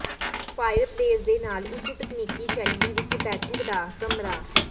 fireplace ਦੇ ਨਾਲ ਉੱਚ ਤਕਨੀਕੀ ਸ਼ੈਲੀ ਵਿੱਚ ਬੈਠਕ ਦਾ ਕਮਰਾ